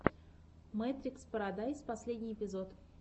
мэтрикс парадайс последний эпизод